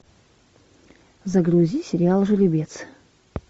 загрузи сериал жеребец